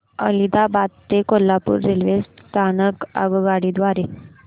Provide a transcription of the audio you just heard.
आदिलाबाद ते कोल्हापूर रेल्वे स्थानक आगगाडी द्वारे